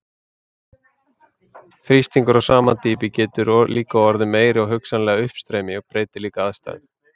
Þrýstingur á sama dýpi getur líka orðið meiri og hugsanlegt uppstreymi breytir líka aðstæðum.